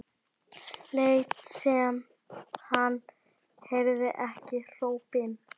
Lét sem hann heyrði ekki hrópin.